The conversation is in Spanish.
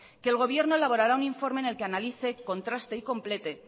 que el gobierno elaborará un informe en el que analice contraste y complete